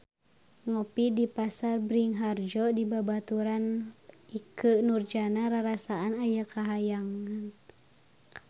Ngopi di Pasar Bringharjo dibaturan ku Ikke Nurjanah rarasaan aya di kahyangan